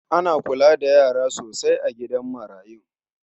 Ana kula da yara sosai a gidan marayun.